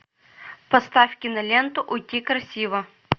поставь киноленту уйти красиво